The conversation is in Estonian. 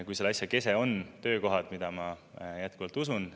Kui selle asja kese on töökohad, mida ma jätkuvalt usun.